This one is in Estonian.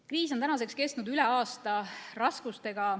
Kriis on tänaseks kestnud üle aasta.